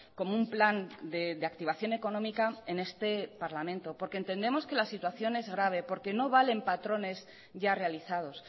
como un plan de activación económica en este parlamento porque entendemos que la situación es grave porque no valen patrones ya realizados